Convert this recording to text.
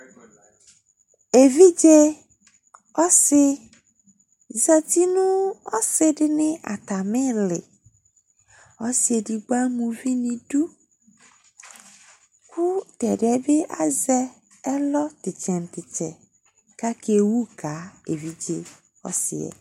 Evidze ɔsɩ zati nʋ ɔsɩdɩnɩ atamɩlɩ Ɔsɩ edigbo ama uvi n'idu , kʋ t'ɛdɩɛ bɩ azɛ ɛlɔ t'ɩtsɛ nʋ t'ɩtsɛ k'akewu ka evidze ɔsɩɛ